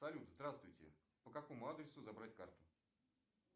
салют здравствуйте по какому адресу забрать карту